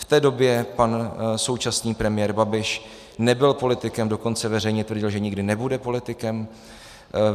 V té době pan současný premiér Babiš nebyl politikem, dokonce veřejně tvrdil, že nikdy nebude politikem.